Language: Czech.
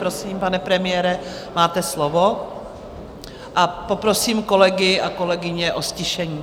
Prosím, pane premiére, máte slovo, a poprosím kolegy a kolegyně o ztišení.